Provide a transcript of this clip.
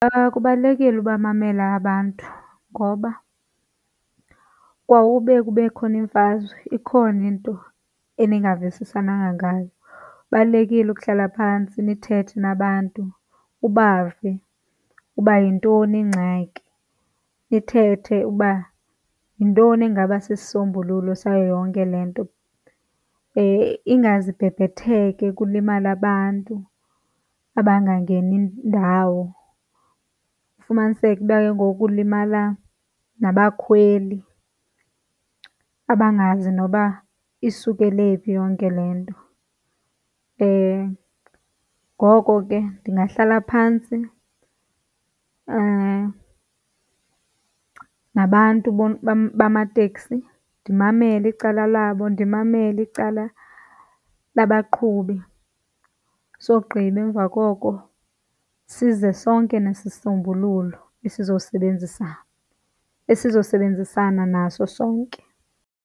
Kubalulekile ubamamela abantu ngoba kwaube kube khona imfazwe, ikhona into eningavisisananga ngayo. Kubalulekile ukuhlala phantsi nithethe nabantu ubave uba yintoni ingxaki, nithethe uba yintoni engaba sisisombululo sayo yonke le nto. Ingaze ibhebhetheke kulimale abantu abangangeni ndawo, ufumaniseke uba ke ngoku kulimala nabakhweli abangazi noba isukele phi yonke le nto. Ngoko ke ndingahlala phantsi nabantu bamateksi ndimamele icala labo, ndimamele icala labaqhubi. Sogqiba emva koko size sonke nesisombululo esizobenzisa esinosebenzisana naso sonke.